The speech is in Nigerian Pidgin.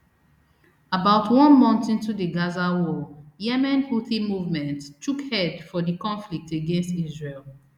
about one month into di gaza war yemen houthi movement chook head for di conflict against israel